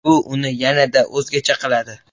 Bu uni yanada o‘zgacha qiladi.